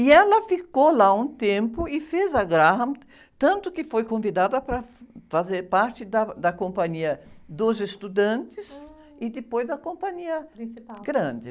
E ela ficou lá um tempo e fez a Graham, tanto que foi convidada para fazer parte da, da companhia dos estudantes e depois a companhia...h, principal.rande.